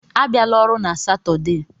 Abịala ọrụ na Satọde: